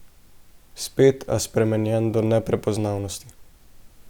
Spet, a spremenjen do neprepoznavnosti.